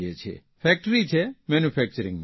factory છે મેન્યુફેકચરીંગની